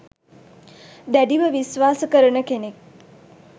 දැඩිව විශ්වාස කරන කෙනෙක්